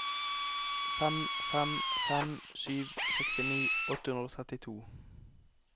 fem fem fem sju sekstini åtte hundre og trettito